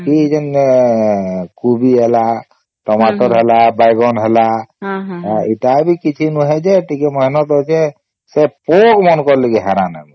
ବାକି ଯେଣେ କୋବି ହେଲା .ଟମାଟର ହେଲା .ବାଇଗଣ ହେଲା ଏଟା ବି କିଛି ନୁହେ ଯେ ଟିକେ ମେହନତ ଅଛେ ସେ ପୋକ ମାନଙ୍କର ଲାଗି ହଇରାଣ ହେଇଛେ